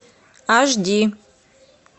аш ди